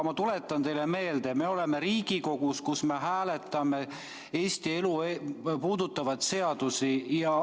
Ma tuletan teile meelde, et me oleme Riigikogus, kus me hääletame Eesti elu puudutavaid seadusi.